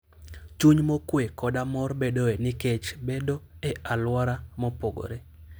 Chuny mokuwe koda mor bedoe nikech bedo e alwora mopogore.